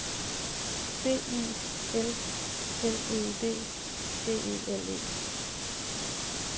B I L L E D D E L E